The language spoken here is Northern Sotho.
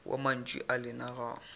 wa mantšu a lena ga